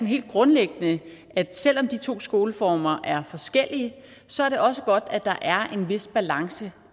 helt grundlæggende at selv om de to skoleformer er forskellige så er det også godt at der er en vis balance